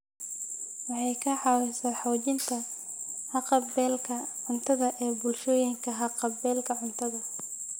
Waxay ka caawisaa xoojinta haqab-beelka cuntada ee bulshooyinka haqab-beelka cuntada.